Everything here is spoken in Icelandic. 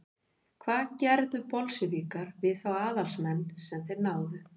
hvað gerðu bolsévikar við þá aðalsmenn sem þeir náðu